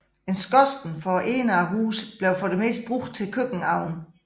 En skorsten for enden af huset blev for det meste brugt til køkkenovnen